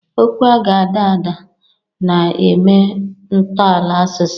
Okwu ga-ada ada, na-eme ntọala asụsụ.